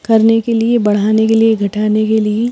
करने के लिए बढ़हाने के लिए घटाने के लिए--